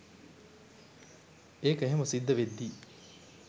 ඒක එහෙම සිද්ධවෙද්දි